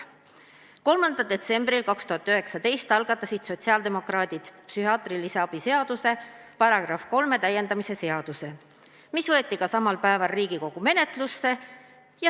" 3. detsembril 2019 algatasid sotsiaaldemokraadid psühhiaatrilise abi seaduse § 3 täiendamise seaduse, mis võeti samal päeval ka Riigikogu menetlusse.